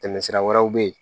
Tɛmɛsira wɛrɛw be ye